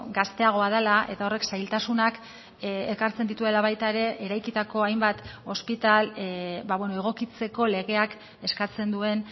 gazteagoa dela eta horrek zailtasunak ekartzen dituela baita ere eraikitako hainbat ospitale egokitzeko legeak eskatzen duen